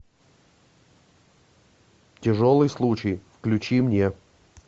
тяжелый случай включи мне